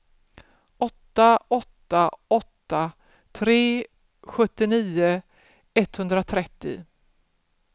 åtta åtta åtta tre sjuttionio etthundratrettio